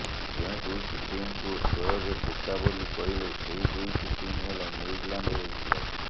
ଯେଉଁ ଦୁଇଟି ଟିମକୁ ସୋଏବ ବୋକା ବୋଲି କହିଲେ ସେହି ଦୁଇଟି ଟିମ ହେଲା ନ୍ୟୁଜିଲାଣ୍ଡ ଓ ଇଂଲଣ୍ଡ